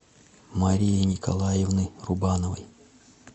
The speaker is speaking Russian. марии николаевны рубановой